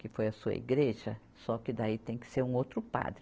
Que foi a sua igreja, só que daí tem que ser um outro padre.